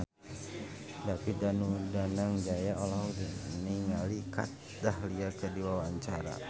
David Danu Danangjaya olohok ningali Kat Dahlia keur diwawancara